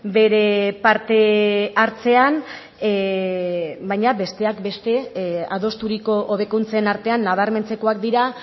bere parte hartzean baina besteak beste adosturiko hobekuntzen artean nabarmentzekoak dira